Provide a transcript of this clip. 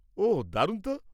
ওহ, দারুণ তো!